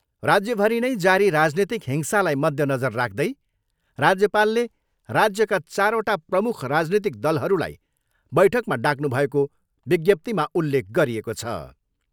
राज्यभरि नै जारी राजनीतिक हिंसालाई मध्य नजर राख्दै राज्यपालले राजयका चारवटा प्रमुख राजनीतिक दलहरूलाई बैठकमा डाक्नुभएको विज्ञाप्तिमा उल्लेख गरिएको छ।